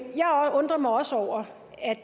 jeg undrer mig også over